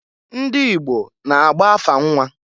Ndị Igbo na-agba afa nnwa.